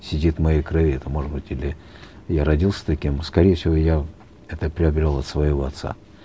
сидит в моей крови это может быть или я родился таким скорее всего я это приобрел от своего отца